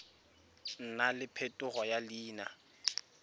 nna le phetogo ya leina